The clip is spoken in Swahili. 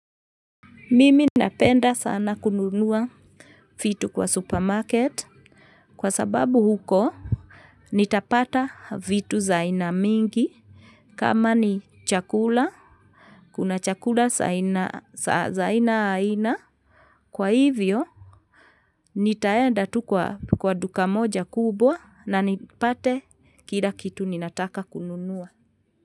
Mimi napenda sana kununua vitu kwa supermarket kwa sababu huko nitapata vitu za aina mingi kama ni chakula kuna chakula za aina aina kwa hivyo nitaenda tu kwa duka moja kubwa na nipate kila kitu ninataka kununua.